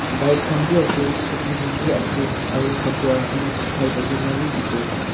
Bike khan bi ase scooty khan bi ase aro kapara khan sukhai thakina bi dekhibo pare.